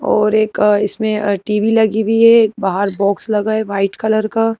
और एक इसमें टीवी लगी हुई है एक बाहर बॉक्स लगा है वाइट कलर का।